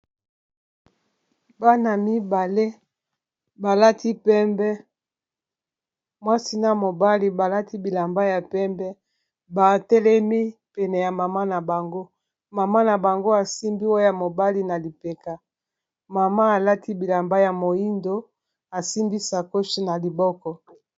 bana mibale balati pembe mwasina mobali balati bilamba ya pembe batelemi pene ya mama na bango mama na bango asimbi oya mobali na lipeka mama alati bilamba ya moindo asimbi sacoshe na liboko